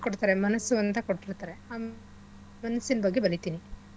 ಕೊಡ್ತಾರೆ ಮನಸ್ಸು ಅಂತ ಕೊಟ್ಬಿಡ್ತರೆ ಮನಸ್ಸಿನ್ ಬಗ್ಗೆ ಬರೀತಿನಿ